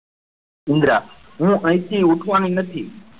ઇન્દ્રા હું અહીંથી ઊઠવાની નથી.